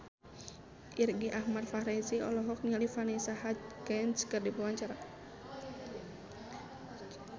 Irgi Ahmad Fahrezi olohok ningali Vanessa Hudgens keur diwawancara